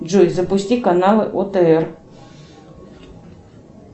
джой запусти канал отр